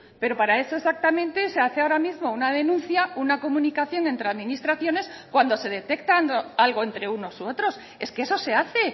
pero para eso exactamente se hace ahora mismo una denuncia una comunicación entre administraciones cuando se detectan algo entre unos u otros es que eso se hace